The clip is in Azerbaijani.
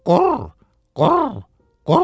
Qur, qur, qur.